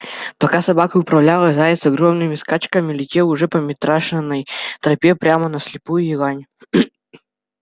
пока собака выправлялась заяц огромными скачками летел уже по митрашиной тропе прямо на слепую елань